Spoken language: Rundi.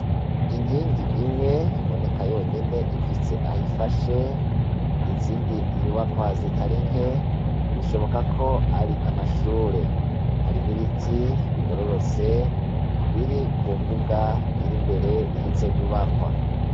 Inkingi imwe iboneka yonyene, ifise aho ifashe, izindi nyubakwa zitari nke, bishoboka ko ari amashure. Hari n'ibiti bigororotse biri ku mbuga iri imbere y'izo nyubakwa.